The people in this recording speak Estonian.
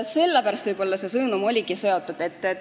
Sellega võib-olla see sõnum oligi seotud.